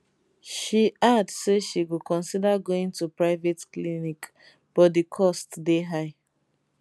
she add say she go consider going to private clinic but di cost dey high